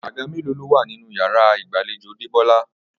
Àga mélòó ló wà nínú yàrá ìgbàlejò Débó̩lá?